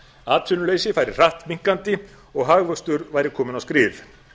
atvinnuleysi færi hratt minnkandi og hagvöxtur væri kominn á skrið